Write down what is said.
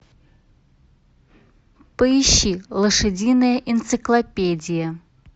поищи лошадиная энциклопедия